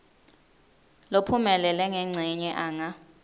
lophumelele ngencenye anga